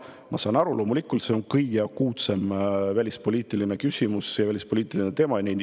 Ma saan aru, loomulikult, see on kõige akuutsem välispoliitiline küsimus ja välispoliitiline teema.